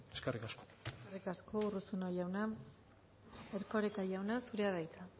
eskerrik asko eskerrik asko urruzuno jauna erkoreka jauna zurea da hitza